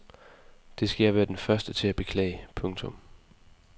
Det skal jeg være den første til at beklage. punktum